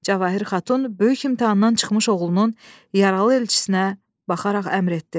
Cəvahir xatun böyük imtahandan çıxmış oğlunun yaralı elçisinə baxaraq əmr etdi.